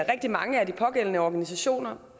rigtig mange af de pågældende organisationer